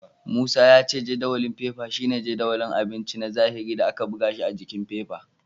Musa ya ce jadawalin fefa shine jadawalin abinci na zahiri da aka buga shi s jikin fefa.